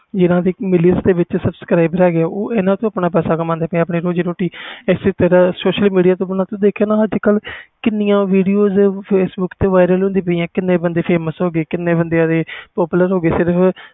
ਜਿਨ੍ਹਾਂ million subscribers ਹੋ ਗੇ ਆ ਉਹ ਇਹਨਾਂ ਤੋਂ ਪੈਸਾ ਕਮਾਂਦੇ ਆ ਆਪਣੀ ਰੋਜ਼ੀ ਰੋਟੀ ਇਸੇ ਤਰਾਂ ਤੋਂ ਤੂੰ ਦੇਖਿਆ ਹੋਣਾ ਕਿੰਨੀਆਂ video facbook ਤੇ viral ਹੁੰਦੀਆਂ ਨੇ ਕੀਨੇ ਬੰਦੇ famous ਹੋ ਗਏ